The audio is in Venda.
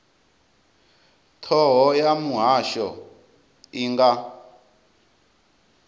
thoho ya muhasho i nga